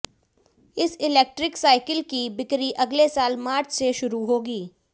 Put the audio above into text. इस electric cycle की बिक्री अगले साल मार्च से शुरू होगी